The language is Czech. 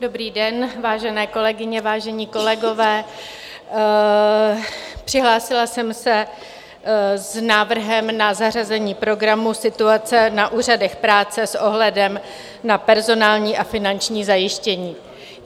Dobrý den, vážené kolegyně, vážení kolegové, přihlásila jsem se s návrhem na zařazení programu Situace na úřadech práce s ohledem na personální a finanční zajištění.